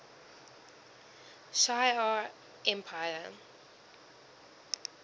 shi ar empire